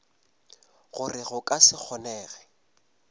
gore go ka se kgonege